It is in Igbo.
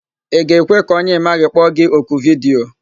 Ị ga-ekwe ka onye ị maghị kpọ gi oku vidiyo?